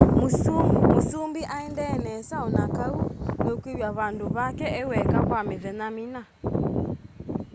mũsũmbĩ aendee nesa onakaũ nũkwĩwa vandũ vake eweka kwa mĩthenya mĩna